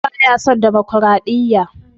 Auwal baya son damakwaraɗiyya.